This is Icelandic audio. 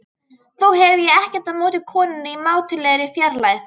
Þó hef ég ekkert á móti konunni í mátulegri fjarlægð.